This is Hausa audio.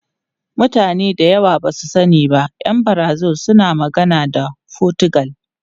Mutane da yawa ba su sani ba, ’yan Brazil suna magana da Fotigal.